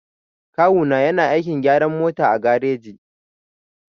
Kawu na yana aikin gyaran mota a gareji.